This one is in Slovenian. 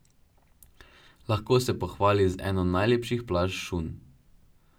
Lahko se pohvali z eno najlepših plaž Šunj.